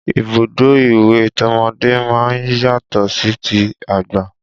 Ibùdó ìwẹ̀ tọmọdé máa ń yàtọ̀ sí ti àgbà